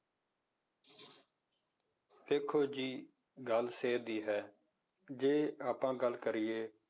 ਦੇਖੋ ਜੀ ਗੱਲ ਸਿਹਤ ਦੀ ਹੈ ਜੇ ਆਪਾਂ ਗੱਲ ਕਰੀਏ,